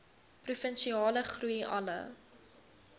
provinsiale groei alle